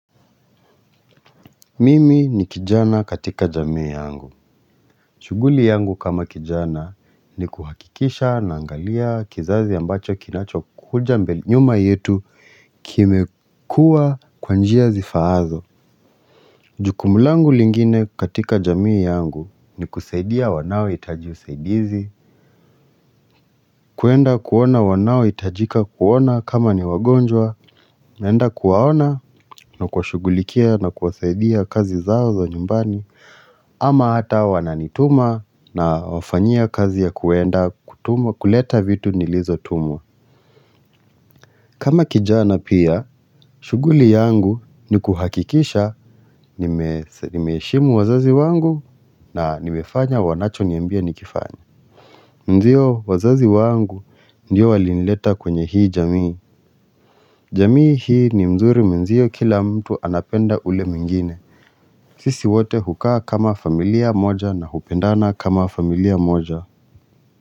Mimi ni kijana katika jamii yangu. Shughuli yangu kama kijana ni kuhakikisha naangalia kizazi ambacho kinachokuja nyuma yetu kimekuwa kwa njia zifaazo Jukumu langu lingine katika jamii yangu ni kusaidia wanaohitaji usaidizi. Kuenda kuona wanaohitajika kuona kama ni wagonjwa naenda kuwaona na kwa shughulikia na kuwasaidia kazi zao za nyumbani ama hata wananituma na wafanyia kazi ya kuenda kutuma kuleta vitu nilizotumwa kama kijana pia shughuli yangu ni kuhakikisha nimeheshimu wazazi wangu na nimefanya wanachoniambia nikifanye Ndio wazazi wangu ndio walinileta kwenye hii jamii jamii hii ni mzuri mwenzio kila mtu anapenda ule mingine sisi wote hukaa kama familia moja na hupendana kama familia moja.